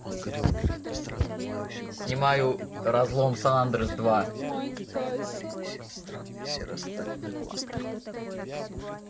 снимаю разлом сан-андреас два